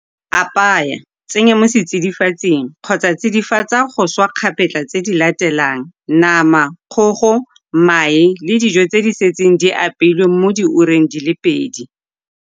Apaya, tsenya mo setsidifatsing, kgotsa tsidifatsa go swa kgapetla tse di latelang nama, kgogo, mae le dijo tse di setseng di apeilwe mo diureng di le pedi.